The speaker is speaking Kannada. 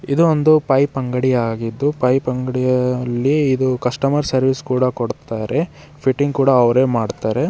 ಇದೊಂದು ಪೈಪ್ ಅಂಗಡಿ ಆಗಿದ್ದು ಪೈಪ್ ಅಂಗಡಿಯಲ್ಲಿ ಇದು ಕಸ್ಟಮರ್ ಸರ್ವಿಸ್ ಕೂಡ ಕೊಡ್ತಾರೆ ಫೀಟಿಂಗ್ ಕೂಡ ಅವ್ರೆ ಮಾಡ್ತಾರೆ.